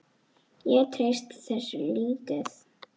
Ég treysti þessu lítið.